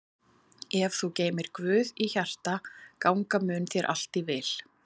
Ef þú geymir Guð í hjarta ganga mun þér allt í vil.